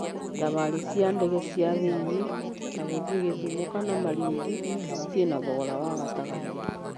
Thabarĩ cia ndege cia thĩinĩ ta gũthiĩ Gĩthumo kana Malindi ciĩna thogora wa gatagatĩ.